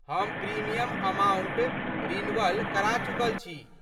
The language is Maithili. हम प्रीमियम अमाउंट रिन्वल करा चुकल छी।